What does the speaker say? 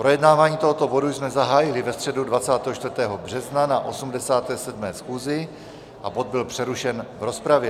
Projednávání tohoto bodu jsme zahájili ve středu 24. března na 87. schůzi a bod byl přerušen v rozpravě.